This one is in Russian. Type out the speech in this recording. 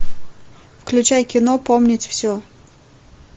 включай кино помнить все